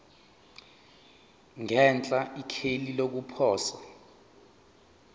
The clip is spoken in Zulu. ngenhla ikheli lokuposa